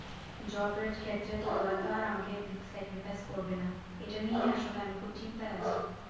job এর ক্ষেত্রে তো ওরা তো আর আমাকে sacrifice করবে না এটা নিয়ে আসলে আমি খুব চিন্তায় আছি